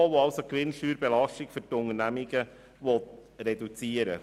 Dieses will die Gewinnsteuerbelastung für die Unternehmungen reduzieren.